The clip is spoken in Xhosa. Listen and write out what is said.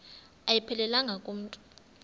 ayiphelelanga ku mntu